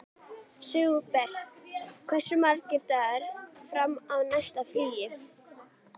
Sigbert, hversu margir dagar fram að næsta fríi?